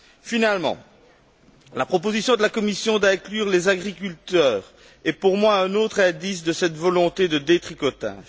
Finalement, la proposition de la Commission d'inclure les agriculteurs est pour moi un autre indice de cette volonté de détricotage.